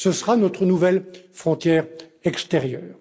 Ce sera notre nouvelle frontière extérieure.